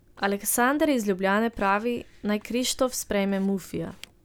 Aleksander iz Ljubljane pravi, naj Krištof sprejme Mufija.